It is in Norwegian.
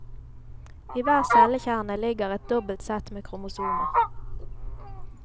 I hver cellekjerne ligger et dobbelt sett med kromosomer.